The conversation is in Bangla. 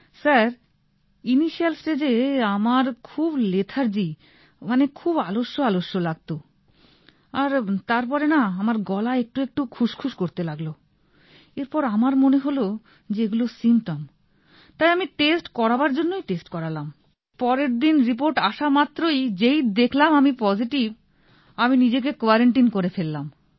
স্যার ইনিশিয়াল স্টেজ এ আমার খুব লেথার্জী মানে খুব আলস্য আলস্য লাগত আর তার পরে না আমার গলা একটু একটু খুশ খুশ করতে লাগল এরপর আমার মনে হল যে এগুলো সিম্পটম তাই আমি টেস্ট করাবার জন্যই টেস্ট করালাম পরের দিন রিপোর্ট আসা মাত্রই যেই দেখালাম আমি পজিটিভ আমি নিজেকে কোয়ারান্টিন করে ফেললাম